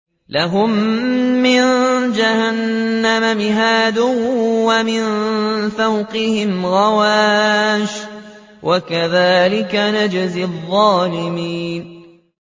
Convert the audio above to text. لَهُم مِّن جَهَنَّمَ مِهَادٌ وَمِن فَوْقِهِمْ غَوَاشٍ ۚ وَكَذَٰلِكَ نَجْزِي الظَّالِمِينَ